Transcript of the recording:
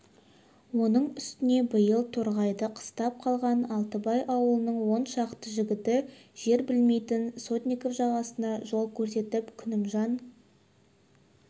оның үстіне биыл торғайды қыстап қалған алтыбай аулының он шақты жігіті жер білмейтін сотников жасағына жол көрсетіп күнімжан